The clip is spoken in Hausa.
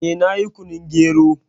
Eh, na yi kunun gero